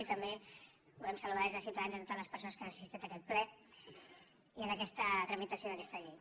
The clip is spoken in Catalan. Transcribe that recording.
i també volem saludar des de ciutadans totes les persones que han assistit a aquest ple i en aquesta tramitació d’aquesta llei